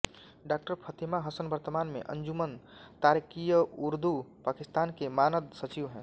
डॉ फतेमा हसन वर्तमान में अंजुमन ताराकीय्उरदु पाकिस्तान के मानद सचिव हैं